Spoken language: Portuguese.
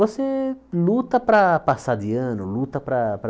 Você luta para passar de ano, luta para para